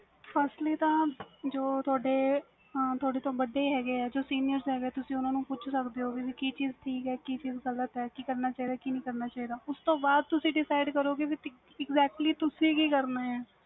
firstly ਤਾਂ ਜੋ ਤੁਹਾਡੇ ਤੋਂ ਵੱਡੇ ਹੈਗੇ ਆ ਜੋ senior ਹੈਗੇ ਤੁਸੀਂ ਓਨਾ ਨੂੰ ਪੁੱਛ ਸਕਦੇ ਓ ਕਿ ਚੀਜ਼ ਸਹੀ ਆ ਤੇ ਕੇ ਚੀਜ਼ ਗ਼ਲਤ ਆ ਕਿ ਕਰਨਾ ਚਾਹੀਦਾ ਤੇ ਕੀ ਨਹੀਂ ਕਰਨਾ ਚਾਹੀਦਾ ਉਸ ਤੋਂ ਬਾਅਦ ਤੁਸੀਂ decide ਕਰੋ ਗੇ ਕੀ ਤੁਸੀਂ exactly ਤੁਸੀਂ ਕੀ ਕਰਨਾ ਆ